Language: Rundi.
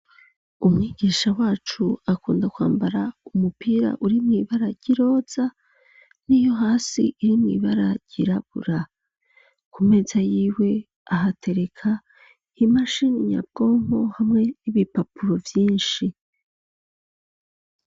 Umwigisha wacu akunda kwambara umupira uri mw'ibara ryiroza n'iyo hasi iri mw'ibara ryirabura ku meza yiwe ahatereka imashinnyabwonko hamwe n'ibipapuro vyinshi.